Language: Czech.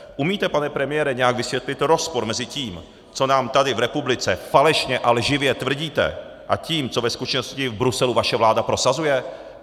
Umíte, pane premiére, nějak vysvětlit rozpor mezi tím, co nám tady v republice falešně a lživě tvrdíte, a tím, co ve skutečnosti v Bruselu vaše vláda prosazuje?